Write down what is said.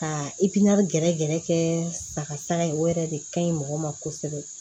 Ka gɛrɛgɛrɛ kɛ sagasa ye o yɛrɛ de ka ɲi mɔgɔ ma kosɛbɛ